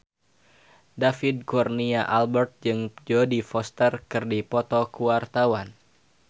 David Kurnia Albert jeung Jodie Foster keur dipoto ku wartawan